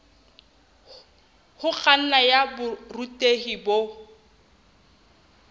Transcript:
ho kganna ya borutehi bo